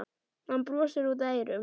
Hann brosir út að eyrum.